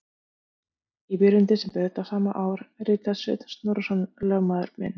Í byrjun desember þetta sama ár ritaði Sveinn Snorrason, lögmaður minn